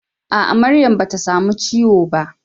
A'a, Maryam bata samu ciwo ba.